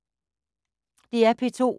DR P2